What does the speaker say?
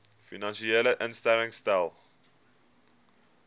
finansiële instellings stel